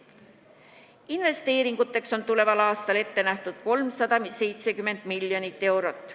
Investeeringuteks on tuleval aastal ette nähtud 370 miljonit eurot.